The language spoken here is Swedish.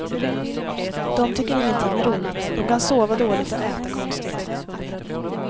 De tycker ingenting är roligt, de kan sova dåligt och äta konstigt.